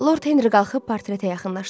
Lord Henri qalxıb portretə yaxınlaşdı.